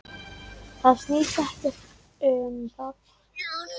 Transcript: Það snýst ekkert um það.